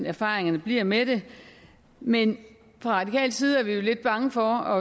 erfaringerne bliver med det men fra radikal side er vi lidt bange for